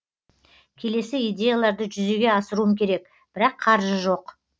келесі идеяларды жүзеге асыруым керек бірақ қаржы жоқ